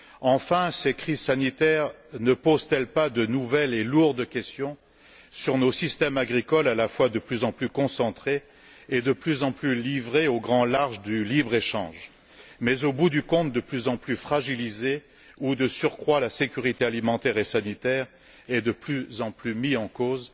Enfin, ces crises sanitaires ne posent elles pas de nouvelles et lourdes questions sur nos systèmes agricoles, à la fois de plus en plus concentrés et de plus en plus livrés au grand large du libre échange, mais au bout du compte de plus en plus fragilisés, où de surcroît la sécurité alimentaire et sanitaire est de plus en plus mise en cause?